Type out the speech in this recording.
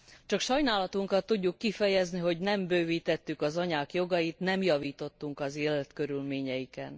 Csak sajnálatunkat tudjuk kifejezni, hogy nem bővítettük az anyák jogait, nem javítottunk az életkörülményeiken.